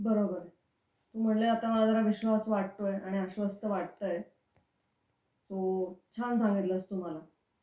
बरोबर. म्हणजे आता मला जरा विश्वास वाटतोय आणि आश्वस्त वाटतंय. तू छान सांगितलंस तू मला.